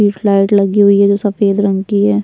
एक लाईट लगी हुई है जो सफ़ेद रंग की है।